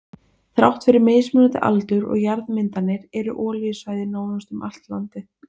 Þrátt fyrir mismunandi aldur og jarðmyndanir eru olíusvæði nánast um landið allt.